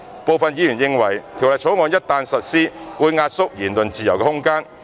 部分議員認為《條例草案》一旦實施，會壓縮言論自由的空間。